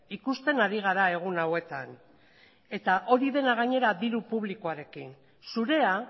ikusten ari gara egun hauetan eta hori dena gainera diru publikoarekin zurea